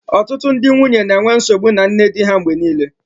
Ọtụtụ ndị nwunye na-enwe nsogbu na nne di ha mgbe niile